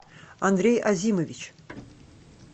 андрей азимович